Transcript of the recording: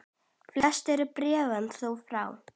Flest eru bréfin þó frá